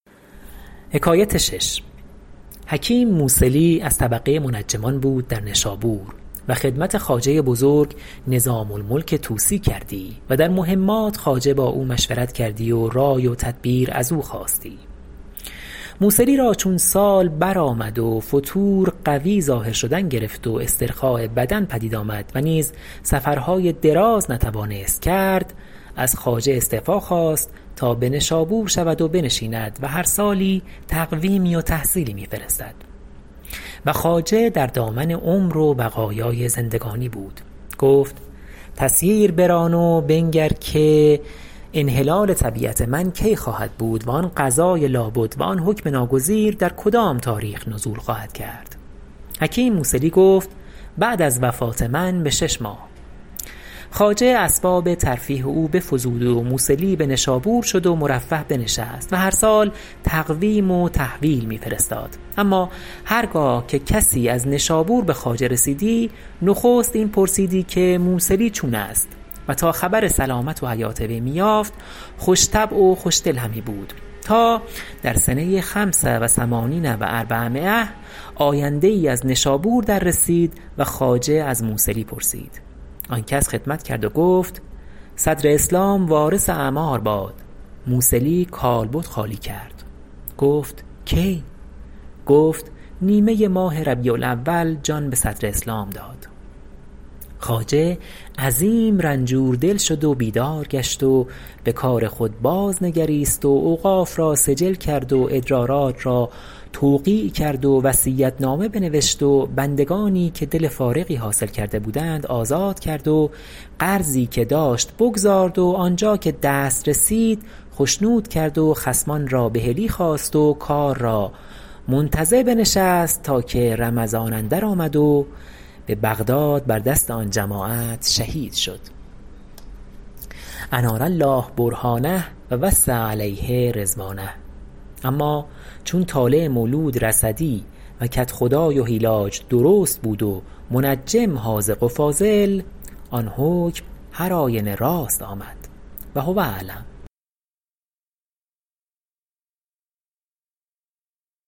حکیم موصلی از طبقه منجمان بود در نشابور و خدمت خواجه بزرگ نظام الملک طوسی کردی و در مهمات خواجه با او مشورت کردی و رأی و تدبیر از او خواستی موصلی را چون سال برآمد و فتور قوی ظاهر شدن گرفت و استرخاء بدن پدید آمد و نیز سفرهای دراز نتوانست کرد از خواجه استعفا خواست تا به نشابور شود و بنشیند و هر سالی تقویمی و تحصیلی می فرستد و خواجه در دامن عمر و بقایای زندگانی بود گفت تسییر بران و بنگر که انحلال طبیعت من کی خواهد بود و آن قضاء لابد و آن حکم ناگزیر در کدام تاریخ نزول خواهد کرد حکیم موصلی گفت بعد از وفات من به شش ماه خواجه اسباب ترفیه او بفزود و موصلى به نشابور شد و مرفه بنشست و هر سال تقویم و تحویل می فرستاد اما هرگاه که کسی از نشابور به خواجه رسیدی نخست این پرسیدی که موصلی چون است و تا خبر سلامت و حیات وی می یافت خوش طبع و خوشدل همی بود تا در سنه خمس و ثمانین و اربعمایة آینده ای از نشابور در رسید و خواجه از موصلی پرسید آن کس خدمت کرد و گفت صدر اسلام وارث اعمار باد موصلی کالبد خالی کرد گفت کی گفت نیمه ماه ربیع الاول جان به صدر اسلام داد خواجه عظیم رنجوردل شد و بیدار گشت و به کار خود باز نگریست و اوقاف را سجل کرد و ادرارات را توقیع کرد و وصیت نامه بنوشت و بندگانی که دل فارغی حاصل کرده بودند آزاد کرد و قرضی که داشت بگزارد و آنجا که دست رسید خشنود کرد و خصمان را بحلی خواست و کار را منتظر بنشست تا که رمضان اندر آمد و به بغداد بر دست آن جماعت شهید شد انار الله برهانه و وسع علیه رضوانه اما چون طالع مولود رصدی و کدخدای و هیلاج درست بود و منجم حاذق و فاضل آن حکم هر آینه راست آمد و هو اعلم